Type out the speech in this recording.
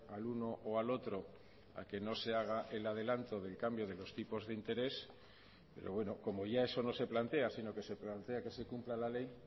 al uno o al otro a que no se haga el adelanto del cambio de los tipos de interés pero bueno como ya eso no se plantea sino que se plantea que se cumpla la ley